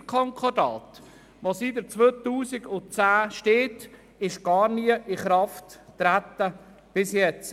Das Deutschschweizer Konkordat das seit 2010 besteht, trat bis jetzt nicht in Kraft.